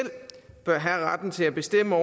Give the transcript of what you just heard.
bør have retten til at bestemme